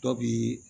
Dɔ bi